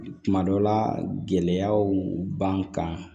Tuma dɔ la gɛlɛyaw b'an kan